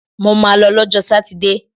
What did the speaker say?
Mo ma lọ lọ́jọ́ sátidé!